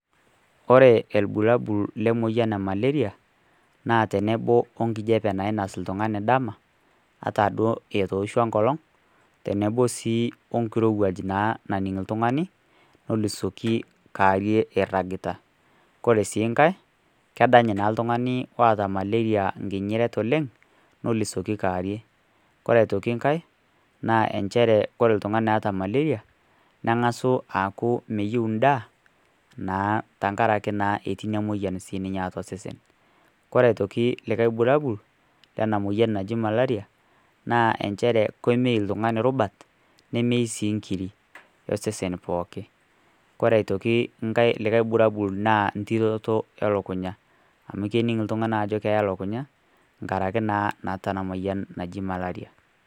Ore irbulabol Lemayian e malaria naa tenebo wenkijiape nainos oltung'ani dama ata duo etooshuo enkolong tenebo naa wenkirowuaj naning oltung'ani nelusoki kaarie eiragita kore sii nkae kedany oltung'ani oota malaria nkinyiret oleng nelisoli kewarie kore nkae ore oltung'ani oota malaria neeku meyieu endaa naa ketii naa moyian atua osesen kore aitoki likae bulabol lena moyian naa inchere kemeyu iltung'ani rubat nemeyu sii inkirik osesen pookin ore likae bulabol naa ntiroto elukunya amu kening oltung'ani ajo keya elukunya karankiz naa naata ina moyian naji malaria.